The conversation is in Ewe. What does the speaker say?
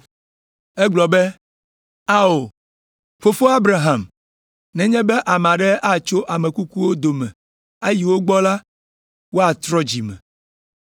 “Egblɔ be, ‘Ao, Fofo Abraham, nenye be ame aɖe atso ame kukuwo dome ayi wo gbɔ la, woatrɔ dzi me.’